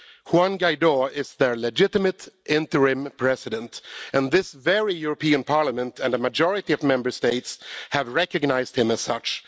Juan Guaidó is their legitimate interim president, and this very European Parliament, and a majority of Member States, have recognised him as such.